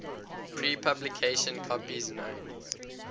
pre publication copies known